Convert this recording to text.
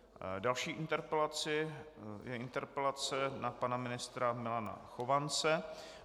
Další interpelací je interpelace na pana ministra Milana Chovance.